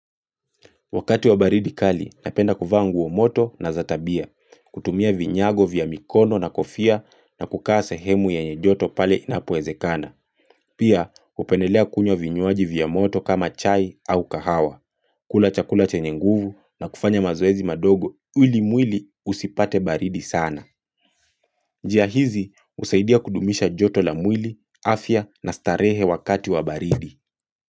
Wakati wa baridi kali, napenda kuvaa moto na za tabia. Kutumia vinyago vya mikono na kofia na kukaa sehemu yenye joto pale inapoezekana. Pia, hupendelea kunywa vinywaji vya moto kama chai au kahawa. Kula chakula chenye nguvu na kufanya mazoezi madogo, ili mwili usipate baridi sana. Njia hizi, husaidia kudumisha joto la mwili, afya na starehe wakati wa baridi.